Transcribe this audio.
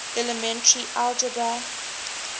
elementary algebra